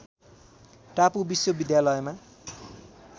टापु विश्वविद्यालयमा